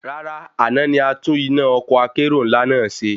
Rárá, àná ni atún iná ọkọ́ akérò ńlá náà ṣe